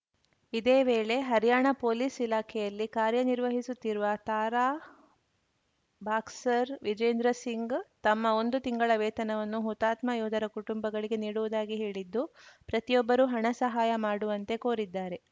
ಇದೇ ವೇಳೆ ಹರ್ಯಾಣ ಪೊಲೀಸ್‌ ಇಲಾಖೆಯಲ್ಲಿ ಕಾರ್ಯನಿರ್ವಹಿಸುತ್ತಿರುವ ತಾರಾ ಬಾಕ್ಸರ್‌ ವಿಜೇಂದರ್‌ ಸಿಂಗ್‌ ತಮ್ಮ ಒಂದು ತಿಂಗಳ ವೇತನವನ್ನು ಹುತಾತ್ಮ ಯೋಧರ ಕುಟುಂಬಗಳಿಗೆ ನೀಡುವುದಾಗಿ ಹೇಳಿದ್ದು ಪ್ರತಿಯೊಬ್ಬರೂ ಹಣ ಸಹಾಯ ಮಾಡುವಂತೆ ಕೋರಿದ್ದಾರೆ